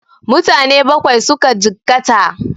Mutane Bakwai suka jikkata